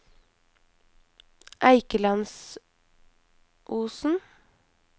Eikelandsosen